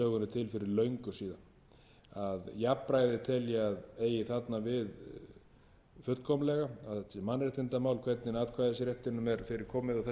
fyrir löngu síðan jafnræði tel ég að eigi þarna við fullkomlega að öll mannréttindamál hvernig atkvæðisréttinum er fyrir komið og þess vegna eigi öll atkvæði að vigta jafnþungt og